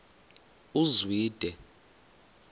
uzwide